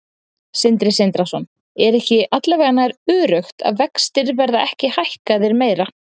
Sindri Sindrason: Er ekki alla vega nær öruggt að vextir verða ekki hækkaðir meira?